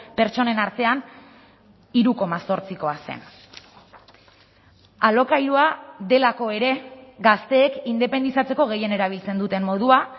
pertsonen artean hiru koma zortzikoa zen alokairua delako ere gazteek independizatzeko gehien erabiltzen duten modua